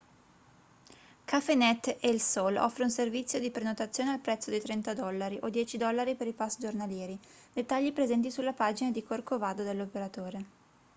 cafenet el sol offre un servizio di prenotazione al prezzo di 30 dollari o 10 dollari per i pass giornalieri dettagli presenti sulla pagina di corcovado dell'operatore